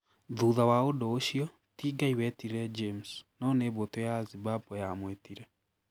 Thutha wa ũndũ ũcio, ti Ngai wetire James, no nĩ mbũtũ ya Zimbabwe yamwĩtire